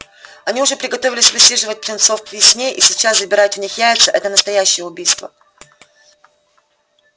они уже приготовились высиживать птенцов к весне и сейчас забирать у них яйца это настоящее убийство